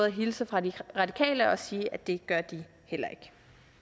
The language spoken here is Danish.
at hilse fra de radikale og sige at det gør de heller ikke